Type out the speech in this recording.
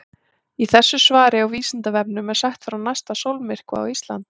Í þessu svari á Vísindavefnum er sagt frá næsta sólmyrkva á Íslandi.